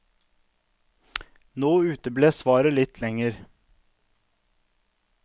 Nå uteble svaret litt lenger.